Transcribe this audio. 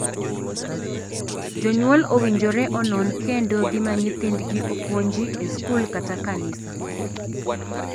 Jonyuol owinjore onon kendo gima nyithindgi opuonji e skul kata kanisa.